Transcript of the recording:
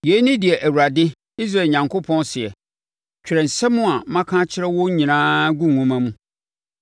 “Yei ne deɛ Awurade, Israel Onyankopɔn, seɛ: ‘Twerɛ nsɛm a maka akyerɛ wo nyinaa gu nwoma mu.